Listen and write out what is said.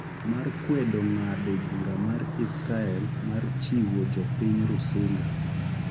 mar kwedo ng’ado bura mar Israel mar chiwo jopiny Rusinga